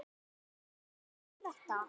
og Hvað er þetta?